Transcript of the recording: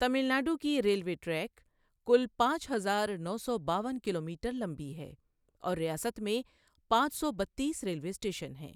تمل ناڈو کی railway track کل پانچ ہزار نو سو باون کلومیٹر لمبی ہے اور ریاست میں پانچ سو بتیس ریلوے اسٹیشن ہیں۔